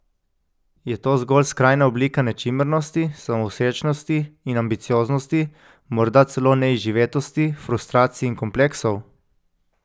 Je to zgolj skrajna oblika nečimrnosti, samovšečnosti in ambicioznosti, morda celo neizživetosti, frustracij in kompleksov?